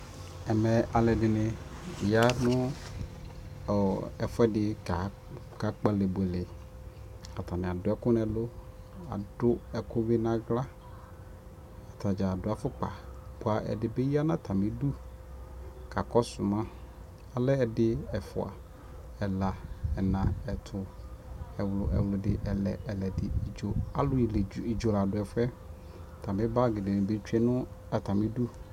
Ɛmɛ, alʋɛdɩnɩ ya nʋ ɔ ɛfʋɛdɩ kakpalɛ buele k'atanɩ adʋ ɛkʋ n'ɛlʋ, adʋ ɛkʋ bɩ n'aɣla Atadzaa adʋ sfʋkpa, bʋa ɛdɩ bɩ ya n'atamidu kakɔsʋ ma Alɛ ɛdɩ, ɛfua, ɛla, ɛna, ɛtʋ, ɛɣlʋ, ɛɣlʋdɩ, ɛlɛ, ɛlɛdɩ, idzo; alʋ idzo la dʋ ɛfʋ yɛ Atamɩ bagɩ dɩnɩ nɩ tsue nʋ atamidu